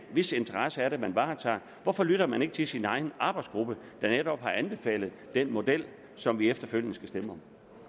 hvis interesser er det man varetager hvorfor lytter man ikke til sin egen arbejdsgruppe der netop har anbefalet den model som vi efterfølgende skal stemme